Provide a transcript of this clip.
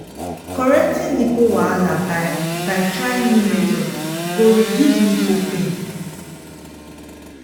correcting nipple wahala by by trying new method go reduce nipple pain